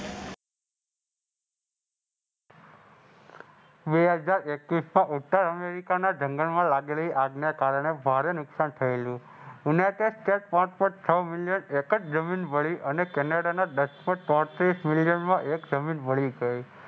બે હજાર એકવીસના ઉત્તર અમેરિકાના જંગલમાં લાગેલી આગને કારણે ભારે નુકસાન થયેલું. યુનાઈટેડ સ્ટેટ પાંચ Point છ મિલિયન એક જ જમીન બળી અને કેનેડાના બસો ચોત્રીસ મિલિયનમાં એક જમીન બળી ગઈ.